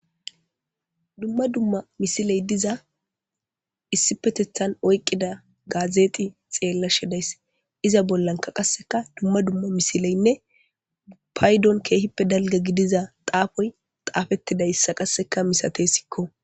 Dumma dumma misiley duza issipetetan oykida misile xelashe days. Iza bollanka qaseka dumma dumma misileynne Paydon keehippe dalga xafoy xafetidaysa qaseka mistesko.